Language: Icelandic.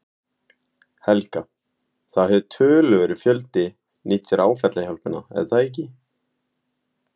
Helga: Það hefur töluverður fjöldi nýtt sér áfallahjálpina er það ekki?